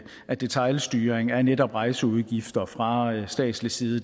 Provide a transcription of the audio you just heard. at detailstyring af netop rejseudgifter fra statslig side